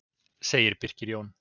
Segir Birkir Jón.